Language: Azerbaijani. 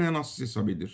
mənasız hesab edir.